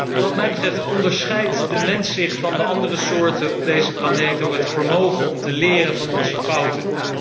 Wat mij betreft onderscheidt de mens zich van de andere soorten op deze planeet door het vermogen om te leren van zijn fouten.